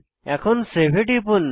এখন সেভ এ টিপুন